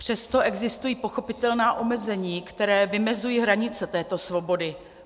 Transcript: Přesto existují pochopitelná omezení, která vymezují hranice této svobody.